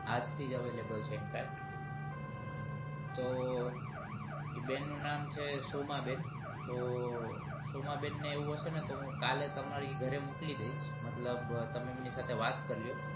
આજ થી જ હવે available centre તો એ બેન નું નામ છે સોમાંબેન તો સોમાંબેન ને એવું હવે તો કાલે તમારી ઘરે મોકલી દઈશ મતલબ તમે એમની સાથે વાત કરી લ્યો